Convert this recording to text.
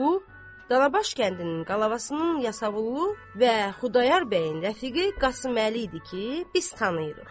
Bu, Danabaş kəndinin qolavasının yasavullu və Xudayar bəyin rəfiqi Qasıməli idi ki, biz tanıyırıq.